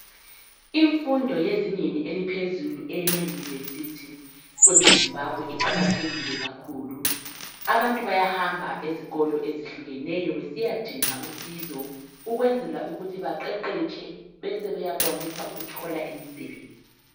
Imfundo yezingeni eliphezulu emayunivesithi kweleZimbabwe iqakathekile kakhulu abantu bayahamaba ezikolo ezehlukeneyo besiya dinga usizo ukwenzela ukuthi baqeqetshe beseyakwanisa ukuthole imisebenzi.